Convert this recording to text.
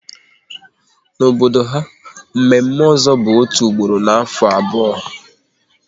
N'obodo ha, mme mme ozo bụ otu ugboro n'afọ abụọ